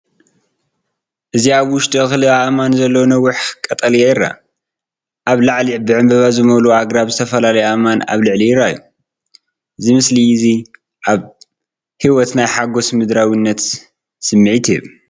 እዚ ኣብ ውሽጡ እክሊ ኣእማን ዘለዎ ነዊሕ ቀጠልያ ይርአ። ኣብ ላዕሊ ብዕምባባ ዝመልኡ ኣግራብን ዝተፈላለዩ ኣእማንን ኣብ ላዕሊ ይረኣዩ። እዚ ምስሊ እዚ ኣብ ህይወት ናይ ሓጎስን ምድራዊነትን ስምዒት ይህብ።